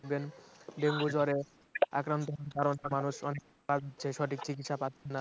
dengue জ্বরে আক্রন্ত মানুষ যে সব সঠিক চিকিৎসা পাচ্ছে না